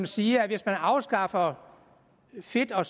siger at hvis man afskaffer fedt og